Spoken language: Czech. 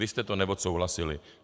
Vy jste to neodsouhlasili.